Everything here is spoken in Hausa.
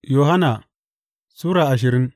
Yohanna Sura ashirin